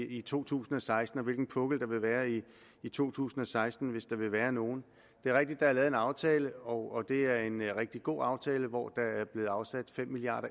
i to tusind og seksten eller hvilken pukkel der vil være i i to tusind og seksten hvis der vil være nogen det er rigtigt at der er lavet en aftale og det er en rigtig god aftale hvor der er blevet afsat fem milliard